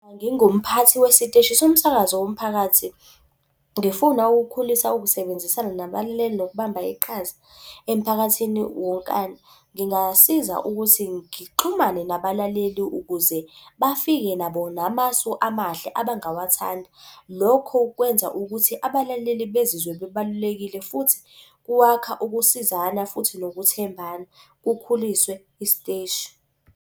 Ngingumphathi wesiteshi somsakazo womphakathi, ngifuna ukukhulisa ukusebenzisana nabalaleli nokubamba iqhaza emphakathini wonkana, ngingasiza ukuthi ngixhumane nabalaleli ukuze bafike nabo namasu amahle abangawathanda. Lokho kwenza ukuthi abalaleli bezizwe bebalulekile futhi kwakha ukusizana futhi nokuthembana kukhuliswe isiteshi.